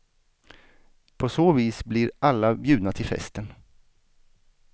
På så vis blir alla bjudna till festen.